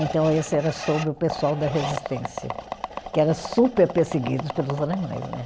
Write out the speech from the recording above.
Então, isso era sobre o pessoal da resistência, que era super perseguido pelos alemães, né?